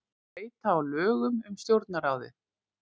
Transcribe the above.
Breyta á lögum um Stjórnarráðið